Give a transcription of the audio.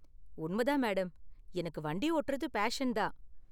உண்ம தான், மேடம்; எனக்கு வண்டி ஓட்டுறது பேஷன் தான்.